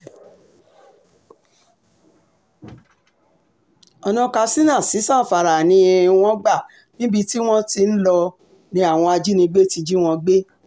ọ̀nà katsina sí zamfara ni um wọ́n gbà níbi tí wọ́n ti ń lọ um ni àwọn ajínigbé ti jí wọn gbé